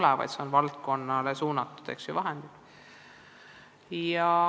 Pigem saab suurendada valdkonnale suunatud vahendeid.